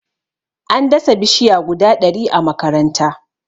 an dasa bishiya guda ɗari a makaranta